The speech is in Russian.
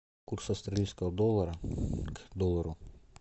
курс австралийского доллара к доллару